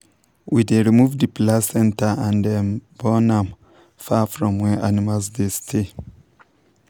we dey remove the placenta and um burn am far from where animals dey stay.